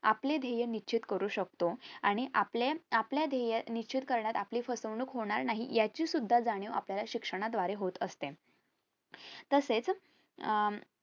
आपले ध्येय निश्चित करू शकतो आणि आपले आपल्या ध्येय निश्चित करण्यात आपली फसवणूक होणार नाही याची सुद्धा जाणीव आपल्याला शिक्षण द्वारे होत असते तसेच अह